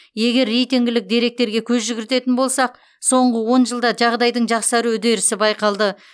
егер рейтингілік деректерге көз жүгіртетін болсақ соңғы он жылда жағдайдың жақсару үдерісі байқалды